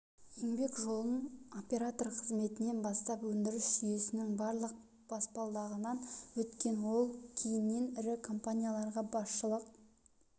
еңбек жолын оператор қызметінен бастап өндіріс жүйесінің барлық баспалдағынан өткен ол кейіннен ірі компанияларға басшылық